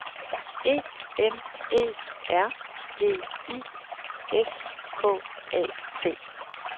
E N E R G I S K A T